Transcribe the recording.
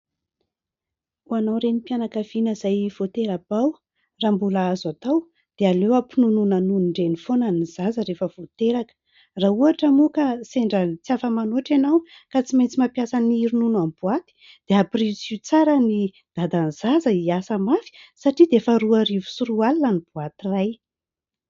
Ho anao renim-pianakaviana izay vao tera-bao raha mbola azo atao dia aleo ampinonoina nonon-dreny foana ny zaza rehefa vao teraka. Raha ohatra moa ka sendran'ny tsy afa-manoatra ianao ka tsy maintsy mampiasa ny ronono amin'ny boaty dia ampirisiho tsara ny dadan'ny zaza hiasa mafy satria dia efa roa arivo sy roa alina ny boaty iray